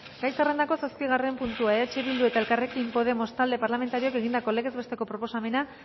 gai zerrendako zazpigarren puntua eh bildu eta elkarrekin podemos talde parlamentarioek egindako legez bestelako proposamena